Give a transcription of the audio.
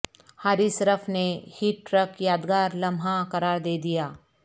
حارث رف نے hat trick یادگار لمحہ قرار دیدیا